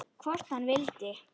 Hvort hann vildi!